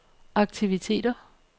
aktiviteter